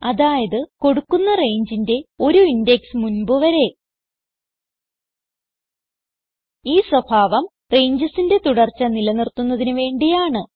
അതായത് കൊടുക്കുന്ന rangeന്റെ ഒരു ഇൻഡെക്സ് മുൻപ് വരെ ഈ സ്വഭാവം rangesന്റെ തുടർച്ച നിലനിർത്തുന്നതിന് വേണ്ടിയാണ്